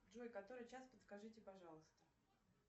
джой который час подскажите пожалуйста